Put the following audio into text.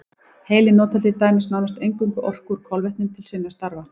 Heilinn notar til dæmis nánast eingöngu orku úr kolvetnum til sinna stafa.